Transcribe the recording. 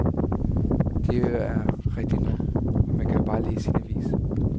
Det er rigtigt nok, og man kan jo bare læse sin avis.